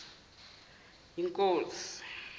yinkosi